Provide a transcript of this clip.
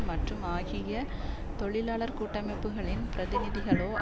மற்றும் ஆகிய தொழிலாளர் கூட்டமைப்புகளின் பிரதிநிதிகளோ